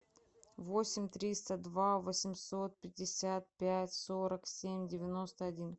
восемь триста два восемьсот пятьдесят пять сорок семь девяносто один